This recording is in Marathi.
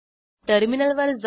टर्मिनलवर जाऊ